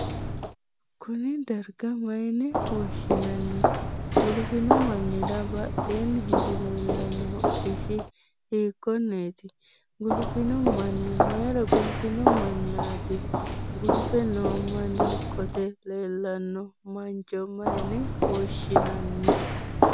Kunni darga mayinne woshinnanni? Guluphino mannira badheenni hige leellano hodhishi hiikoneeti? Guluphino manni mayira guluphino manaati? Guluphe noo manni qote leelano mancho mayine woshinnanni?